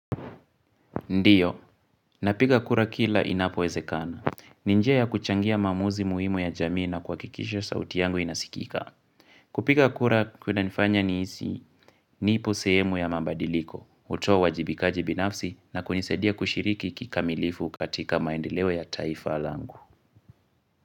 Ndiyo, napiga kura kila inapowezekana. Ni njia ya kuchangia maamuzi muhimu ya jamii na kuhakikisha sauti yangu inasikika. Kupiga kura kunanifanya nihisi nipo sehemu ya mabadiliko, hutoa uwajibikaji binafsi na kunisaidia kushiriki kikamilifu katika maendeleo ya taifa langu.